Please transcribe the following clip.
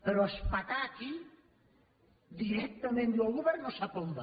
però etzibar aquí directament diu el govern no sap on va